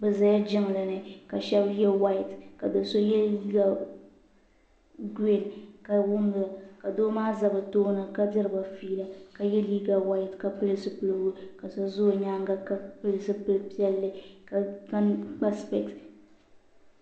Duu n bɔŋo duu maa pɛɛnti la pɛɛnta piɛlli ka ninsali nima zoo pam nyɛ dabba n ʒɛ duu maa ni shɛba yɛla liiga piɛla ka yino muɣi o maŋa zaya ka yino zaŋ o nuhi labisi o nyaanga.